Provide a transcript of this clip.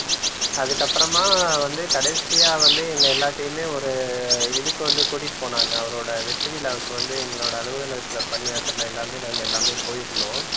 அதுக்கப்புறமா வந்து கடைசியா வந்து எங்க எல்லாத்தையுமே ஒரு இதுக்கு வந்து கூட்டிட்டு போனாங்க அவரோட வெற்றி விழாவுக்கு வந்து எங்களோட அலுவலகத்தில் பணியாற்றின எல்லாமே நாங்க எல்லாமே போயிருந்தோம்